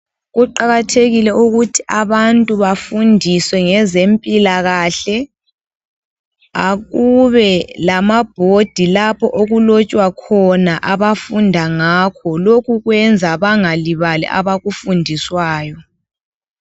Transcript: Kuqakathekile ukuthi abantu bafundiswe ngezempilakahle. Akube lama bhodi lapho okulotshwa khona abafunda ngakho. Lokhu kwenza bangalibali abakufundiswayo.